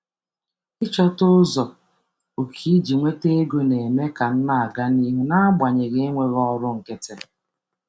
Ịchọta ụzọ okike iji nweta okike iji nweta ego na-eme ka m na-aga n’ihu n’agbanyeghị enweghị ọrụ nkịtị.